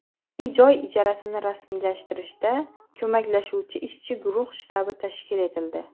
uy-joy ijarasini rasmiylashtirishda ko‘maklashuvchi ishchi guruh shtabi tashkil etildi.